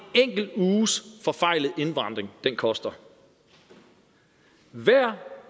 enkelt uges forfejlet indvandring koster hver